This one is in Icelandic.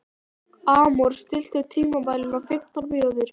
Amor, stilltu tímamælinn á fimmtán mínútur.